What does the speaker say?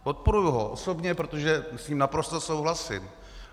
Podporuji ho osobně, protože s ním naprosto souhlasím.